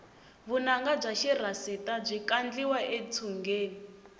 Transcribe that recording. vunanga bya xirhasita byi kandliwa etshungeni